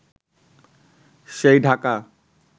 সেই ঢাকা